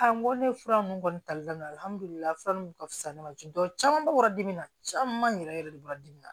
n ko ne fura nunnu kɔni ta fura mun ka fisa ne ma ten tɔ caman bɛ bɔra dimi na caman yɛrɛ yɛrɛ de bɔra dimi na